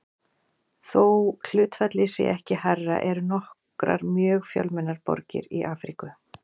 Þó hlutfallið sé ekki hærra eru nokkrar mjög fjölmennar borgir í Afríku.